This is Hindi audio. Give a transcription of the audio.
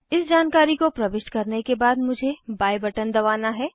इस जानकारी को प्रविष्ट करने के बाद मुझे बाय बटन दबाना है